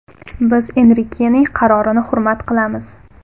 Biz Enrikening qarorini hurmat qilamiz.